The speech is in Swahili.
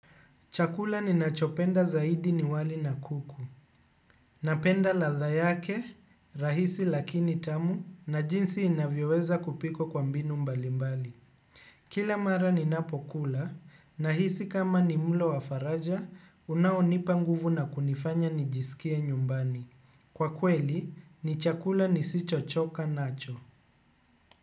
Chakula ninachopenda zaidi ni wali na kuku. Napenda ladha yake, rahisi lakini tamu, na jinsi inavyoweza kupikwa kwa mbinu mbalimbali. Kila mara ninapokula, nahisi kama ni mlo wa faraja, unaonipa nguvu na kunifanya nijisikie nyumbani. Kwa kweli, ni chakula nisichochoka nacho.